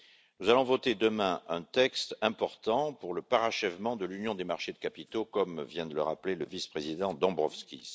Nous allons voter demain un texte important pour le parachèvement de l'union des marchés des capitaux, comme vient de le rappeler le vice président Dombrovskis.